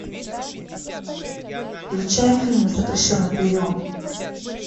включай фильм запрещенный прием